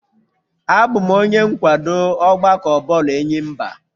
Abụ m onye nkwado ọgbakọ bọọlụ enyimba